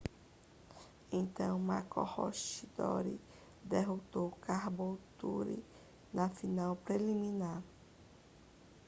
então maroochydore derrotou caboolture na final preliminar